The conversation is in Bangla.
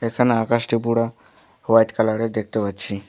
এখানে আকাশটি পুরো হোয়াইট কালারের দেখতে পাচ্ছি।